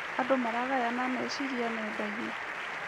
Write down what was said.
Andũ maragayana meciria nenda-inĩ.